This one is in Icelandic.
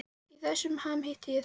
Í þessum ham hitti ég þig.